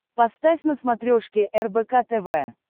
поставь на смотрешке рбк тв